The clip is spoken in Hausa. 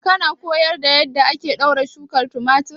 Kana koyar da yadda ake ɗaure shukar tumatir?